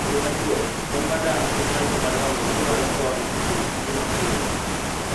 E yo machuok: Kony mar dak en mar joma dongo madwaro kony e timo tije mapile.